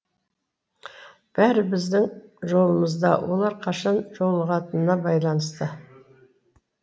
бәрі біздің жолымызда олар қашан жолығатынына байланысты